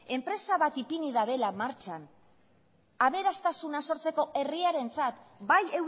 enpresa bat ipini badela martxan aberastasuna sortzeko herriarentzat bai